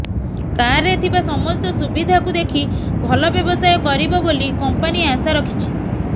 କାରରେ ଥିବା ସମସ୍ତ ସୁବିଧାକୁ ଦେଖି ଭଲ ବ୍ୟବସାୟ କରିବ ବୋଲି କମ୍ପାନୀ ଆଶା ରଖିଛି